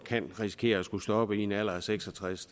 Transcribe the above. kan risikere at skulle stoppe i en alder af seks og tres